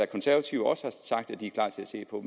konservative også sagt er de klar til at se på